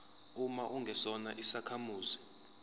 uma ungesona isakhamuzi